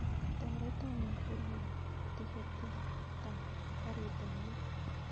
Toreton ikurwon tiketitak karit ap maat